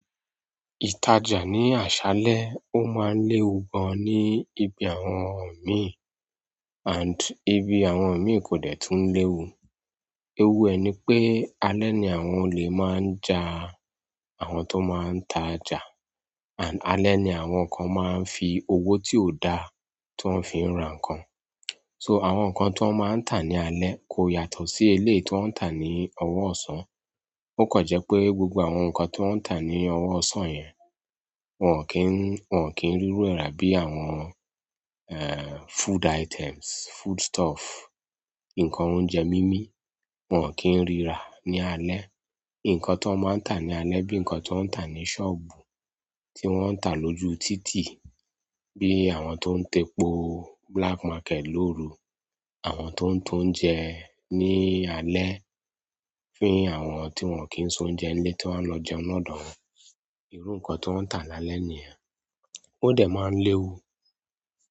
Ìtajà ní àṣálẹ́ ó máa ń léwu gan ní ibi àwọn mi and ibi àwọn mi kò dẹ̀ túń léwu. Ewu ẹ ni pé alẹ́ ni àwọn olè máa ń ja àwọn tó máa ń tajà and alẹ́ ni àwọn kan máa ń fi owó tí ò da tó ń fi ń ra nǹkan. So àwọn nǹkan tí wọ́n máa ń tà ní alẹ́ kò yàtọ̀ sí eléyìí tí wọ́n ń tà ní ọwọ́ ọ̀sán. Ó kàn jẹ́ pé gbogbo àwọn nǹkan tí wọ́n ń tà ní ọwọ́ ọ̀sán yẹn wọ́n ò kí ń, wọ́n ò kí ń rí rú ẹrá bí i àwọn eh food items, food stuff, nǹkan oúnjẹ mímí wọ́n ò kí ń rí rà ní alẹ́. Nkán ti wọn maa ta lálẹ́ bi nkan ti wọn ta ni sobu ti wọn ta loju titi bi àwọn to n ta epo black market loru àwọn to n tounje ni alẹ́ fún àwọn ti wọn ki sounje nílé ti won lo jẹun ni òdò won. Iru nǹkan tí wọ́n ń tà lálẹ́ ni yen. Ó dẹ̀ máa ń léwu.